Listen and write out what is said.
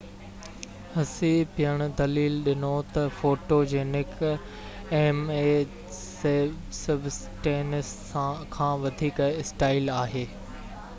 هسي پڻ دليل ڏنو ته فوٽوجينڪ ايم اي سبسٽينس کان وڌيڪ اسٽائل آهي